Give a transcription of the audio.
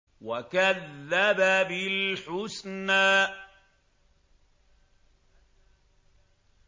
وَكَذَّبَ بِالْحُسْنَىٰ